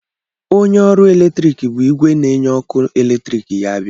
Onye ọrụ eletrik bu igwe na-enye ọkụ eletrik ya bịa.